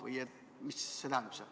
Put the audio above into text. Või seda, mida see tähendab?